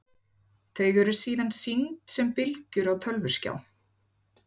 Þau eru síðan sýnd sem bylgjur á tölvuskjá.